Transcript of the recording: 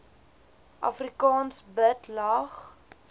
afrikaans bid lag